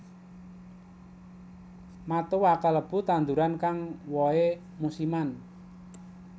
Matoa kalebu tanduran kang wohé musiman